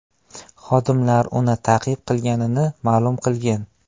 Xodimlar uni ta’qib qilganini ma’lum qilgan.